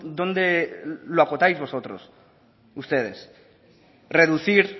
donde lo acotáis ustedes reducir